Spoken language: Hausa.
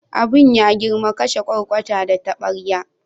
Abin ya girma, kashe kwarkwata da tabarya.